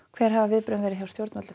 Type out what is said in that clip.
hver hafa viðbrögðin verið hjá stjórnvöldum